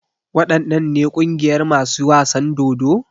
Waɗannan ne ƙungiyar masu wasan dodo?